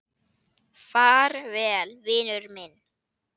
Far vel, vinur minn.